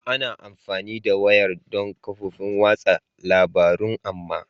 Ana amfani da wayar don kafofin watsa labarun amma